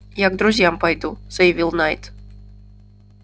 я к друзьям пойду заявил найд